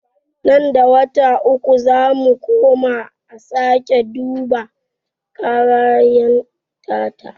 Nan da wata uku zamu koma a sake duba karayar ta ta.